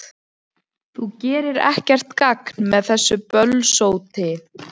Þú gerir ekkert gagn með þessu bölsóti,